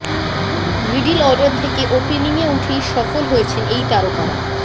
middle order থেকে ওপেনিংয়ে উঠেই সফল হয়েছেন এই তারকারা